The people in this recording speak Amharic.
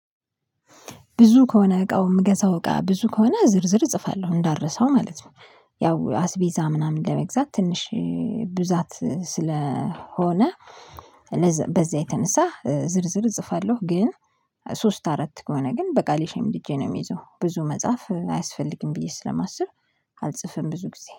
ብዙ ከሆነ እቃው የምገዛው እቃ ብዙ ከሆነ ዝርዝር እፅፋለው እንዳልረሳው ማለት ነው። ያው አስቤዛ ምናምን ለመግዛት ትንሽ ብዛት ስለሆነ በዛ የተነሳ ዝርዝር እጽፋለሁ ግን ሶስት አራት ከሆነ ግን በቃሌ ሸምድጄ ነው የምይዘው፤ ብዙ መጻፍ አያስፈልግም ብዬ ስለማስብ አልጽፍም ብዙ ጊዜ።